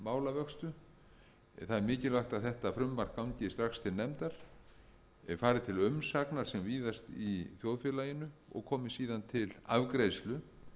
en það er mikilvægt að þetta frumvarp gangi strax til nefndar og fari til umsagnar sem víðast í þjóðfélaginu og komi síðan til afgreiðslu